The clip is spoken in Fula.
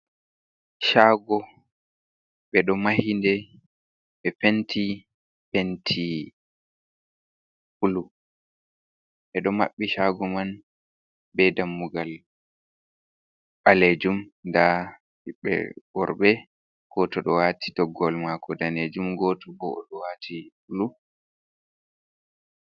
Shago be do mahide, be penti penti bulu be do mabbi shago man be dammugal balejum da hibbe worbe goto do wati toggowol mako danejum goto bo o do wati bulu.